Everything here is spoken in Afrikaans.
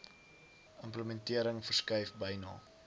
implementering verskuif byna